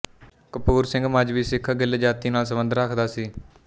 ਕਪੂਰ ਸਿੰਘ ਮਜ਼੍ਹਬੀ ਸਿੱਖ ਗਿੱਲ ਜਾਤੀ ਨਾਲ ਸੰਬੰਧ ਰੱਖਦਾ ਸੀ